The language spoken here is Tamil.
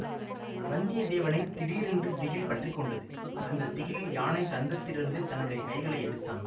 வந்தியத்தேவனை திடீரென்று திகில் பற்றி கொண்டது அந்த திகிலில் யானை தந்தத்திலிருந்து தன்னுடைய கைகளை எடுத்தான்